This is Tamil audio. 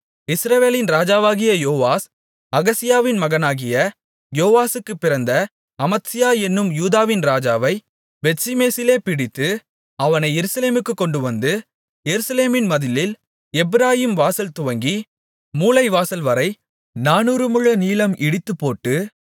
இஸ்ரவேலின் ராஜாவாகிய யோவாஸ் அகசியாவின் மகனாகிய யோவாசுக்குப் பிறந்த அமத்சியா என்னும் யூதாவின் ராஜாவைப் பெத்ஷிமேசிலே பிடித்து அவனை எருசலேமுக்குக் கொண்டுவந்து எருசலேமின் மதிலில் எப்பிராயீம் வாசல்துவங்கி மூலைவாசல்வரை நானூறு முழ நீளம் இடித்துப்போட்டு